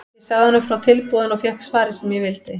Ég sagði honum frá tilboðinu og fékk svarið sem ég vildi.